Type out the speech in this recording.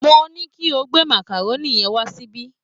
Mo ní kí o gbé màkàrónì yẹn wá síbí